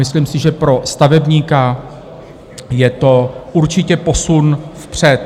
Myslím si, že pro stavebníka je to určitě posun vpřed.